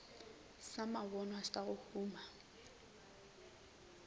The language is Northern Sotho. sa mabonwa sa go huma